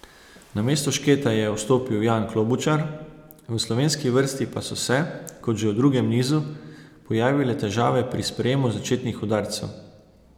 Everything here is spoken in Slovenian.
Namesto Šketa je vstopil Jan Klobučar, v slovenski vrsti pa so se, kot že v drugem nizu, pojavile težave pri sprejemu začetnih udarcev.